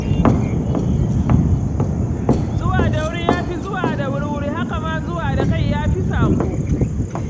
Zuwa da wuri ya fi zuwa da wurwuri haka ma zuwa da kai ya fi saƙo